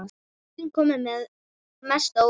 Augun komu mest á óvart.